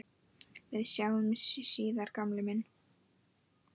Við sjáumst síðar gamli minn.